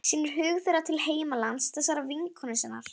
Sýnir hug þeirra til heimalands þessarar vinkonu sinnar.